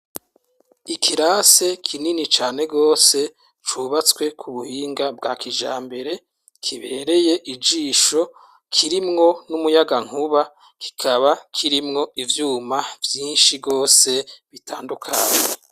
Ikirasi kinini cane rwose cubatswe ku buhinga bwa kijambere kibereye ijisho kirimwo n'umuyagankuba kikaba kirimwo ivyuma vyinshi rwose bitandukanye.